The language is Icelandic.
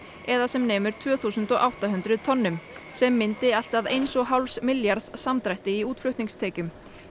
eða sem nemur tvö þúsund og átta hundruð tonnum sem myndi allt að eins og hálfs milljarðs samdrætti í útflutningstekjum